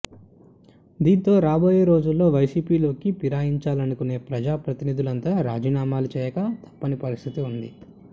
దీంతో రాబోయే రోజుల్లో వైసీపీలోకి పిరాయించాలనుకునే ప్రజా ప్రతినిధులంతా రాజీనామాలు చేయక తప్పని పరిస్థితి ఉంది